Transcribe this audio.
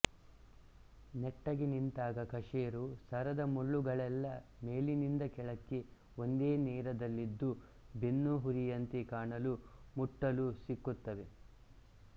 ನೆಟ್ಟಗೆ ನಿಂತಾಗ ಕಶೇರು ಸರದ ಮುಳ್ಳುಗಳೆಲ್ಲ ಮೇಲಿನಿಂದ ಕೆಳಕ್ಕೆ ಒಂದೇ ನೆರದಲ್ಲಿದ್ದು ಬೆನ್ನುಹುರಿಯಂತೆ ಕಾಣಲೂ ಮುಟ್ಟಲೂ ಸಿಕ್ಕುತ್ತವೆ